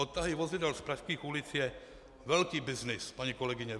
Odtahy vozidel z pražských ulic je velký byznys, paní kolegyně.